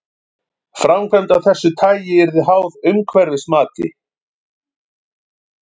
Framkvæmd af þessu tagi yrði háð umhverfismati.